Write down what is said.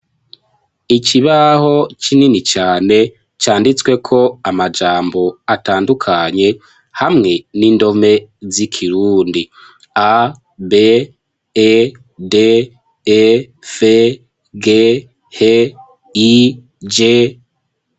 Ikibaho kinini cane canditsweko amajambo atandukanye hamwe n'indome z'ikirundi a,b,e,d,e,f,g,h,i,j.